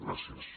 gràcies